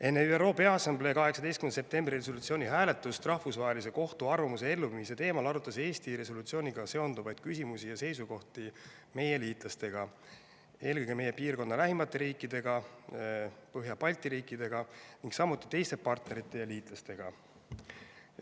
Enne ÜRO Peaassamblee 18. septembri resolutsiooni hääletust Rahvusvahelise Kohtu arvamuse elluviimise teemal arutas Eesti resolutsiooniga seonduvaid küsimusi ja seisukohti meie liitlastega, eelkõige meie piirkonna lähimate riikide, Põhja Balti riikidega, ning samuti teiste partnerite ja liitlastega.